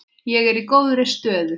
Ég er í góðri stöðu.